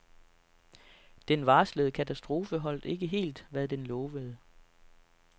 Den varslede katastrofe holdt ikke helt, hvad den lovede.